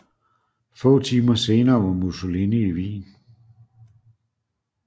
Få timer senere var Musssolini i Wien